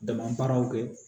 Dama baaraw kɛ